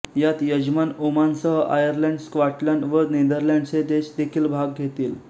यात यजमान ओमानसह आयर्लंड स्कॉटलंड व नेदरलँड्स हे देश देखील भाग घेतील